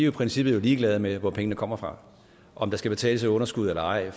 i princippet ligeglade med hvor pengene kommer fra og om der skal betales et underskud eller ej